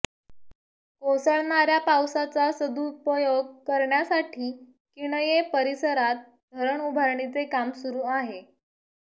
कोसळणार्या पावसाचा सदुपयोग करण्यासाठी किणये परिसरात धरण उभारणीचे काम सुरू आहे